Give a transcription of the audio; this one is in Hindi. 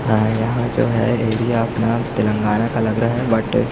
है यहाँ जो है एरिया आपना तेलंगाना का लग रहा है बट --